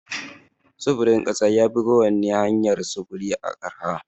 Sufurin ƙasa ya fi kowani hanyar sufuri arha.